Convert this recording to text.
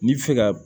N'i bi fɛ ka